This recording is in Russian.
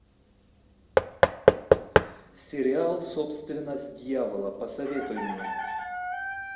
сериал собственность дьявола посоветуй мне